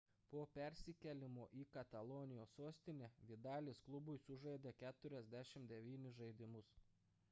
po persikėlimo į katalonijos sostinę vidalis klubui sužaidė 49 žaidimus